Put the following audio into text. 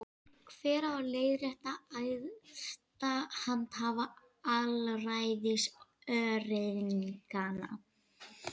Hver á að leiðrétta æðsta handhafa alræðis öreiganna?